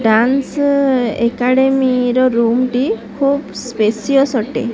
Dance academy ର room ଟି ଖୁବ ସ୍ପେସିଅସ ଅଟେ।